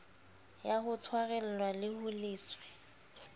ya ho tshwarelwa ho leswe